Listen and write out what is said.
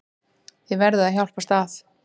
Þið verðið að hjálpast að.